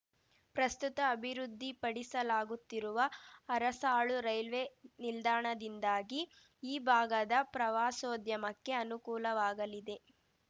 ಪ್ರಸ್ತುತ ಅಭಿವೃದ್ಧಿಪಡಿಸಲಾಗುತ್ತಿರುವ ಅರಸಾಳು ರೈಲ್ವೆ ನಿಲ್ದಾಣದಿಂದಾಗಿ ಈ ಭಾಗದ ಪ್ರವಾಸೋದ್ಯಮಕ್ಕೆ ಅನುಕೂಲವಾಗಲಿದೆ